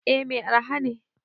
Eh Mai araha ne.